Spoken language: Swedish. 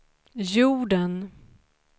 jorden